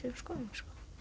um skoðun